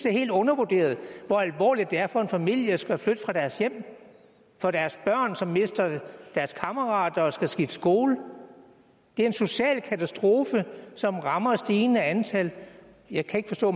er helt undervurderet hvor alvorligt det er for en familie at skulle flytte fra deres hjem for deres børn som mister deres kammerater og skal skifte skole det er en social katastrofe som rammer et stigende antal jeg kan ikke forstå